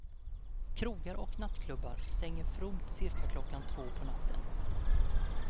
Krogar och nattklubbar stänger fromt cirka klockan två på natten.